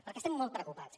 perquè estem molt preocupats